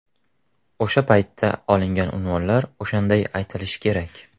O‘sha paytda olingan unvonlar o‘shanday aytilishi kerak.